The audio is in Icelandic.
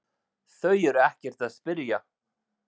Þau eru ekkert að spyrja